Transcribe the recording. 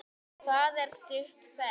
Það er það stutt ferð.